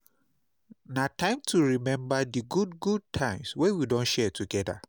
Na time to remember di good good times wey we don share together.